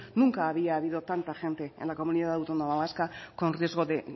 nunca había habido tanta gente en la comunidad autónoma vasca con riesgo de